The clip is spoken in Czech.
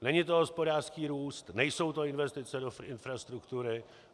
Není to hospodářský růst, nejsou to investice do infrastruktury.